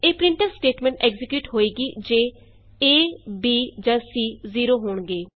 ਇਹ printf statement execute ਹੋਏਗੀ ਜੇ ਏ b ਜਾ ਸੀ 0 ਹੋਣਗੇ